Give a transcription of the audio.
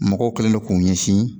Mɔgɔw kɛlen don k'u ɲɛsin